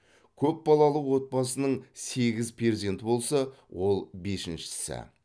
көпбалалы отбасының сегіз перзенті болса ол бесіншісі